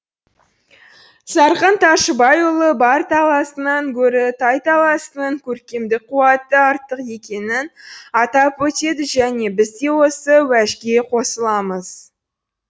зарқын тайшыбайұлы бар таласынан гөрі тайталасының көркемдік қуаты артық екенін атап өтеді және біз де осы уәжге қосыламыз